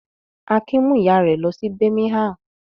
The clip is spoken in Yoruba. Akin mú ìyá rẹ̀ lọ sí Birmingham?